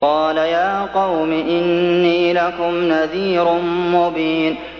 قَالَ يَا قَوْمِ إِنِّي لَكُمْ نَذِيرٌ مُّبِينٌ